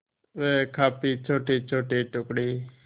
वह काफी छोटेछोटे टुकड़े